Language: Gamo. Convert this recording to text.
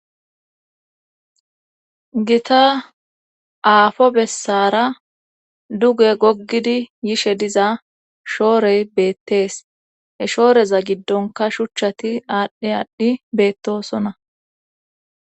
gita aafo bessara duge goggidi yishe diza shoorey beettees he shooreza giddonka shuchchati aadhdhe adhdhi beettosona